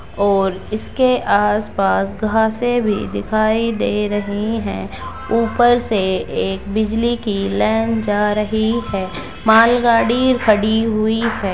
और इसके आस-पास घाँसें भी दिखाई दे रही है | ऊपर से एक बिजली की लेएन जा रही है | मालगाड़ी खडी हुई है।